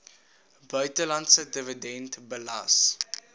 buitelandse dividend belas